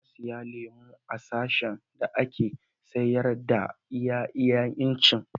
Na siya lemun a sashin da ake sayar da iya iyan ice.